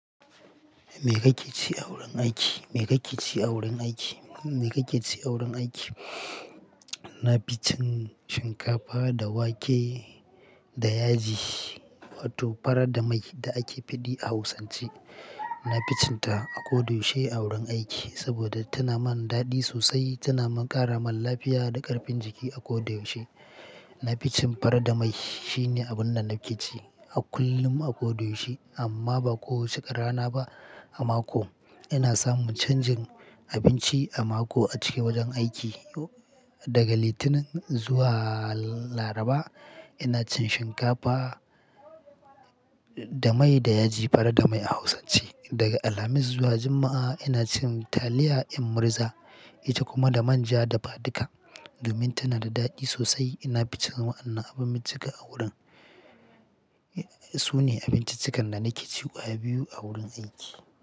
Me kake ci a wurin aiki? Me kake ci a wurin aiki? Me kake ci a wurin aiki? Na fi cin shinkafa da wake da yaji wato fara da mai da ake faɗi a hausance. Nafi cinta a kodayaushe a wurin aiki saboda tanamin daɗi sosai tana ƙaramin lafiya da ƙarfin jiki a kodayaushe naficin fara da mai. Shi ne abin da nake ci a kullum a koda yaushe amma ba kowace rana ba a mako. Ina samun canjin abinci a mako a cikin wajen aiki. Daga Litinin zuwa Laraba ina cin shinkafa da mai da yaji, fara da mai a hausance. Daga Alhamis zuwa Juma'a ina cin taliya in murza ita kuma da manja dafaduka domin tana da daɗi sosai. Ina fi cin wa'anna abin bicika a wurin. Su ne abinciccikan da nake ci kwaya biyu a wurin aiki.